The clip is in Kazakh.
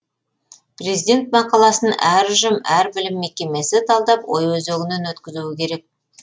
президент мақаласын әр ұжым әр білім мекемесі талдап ой өзегінен өткізуі керек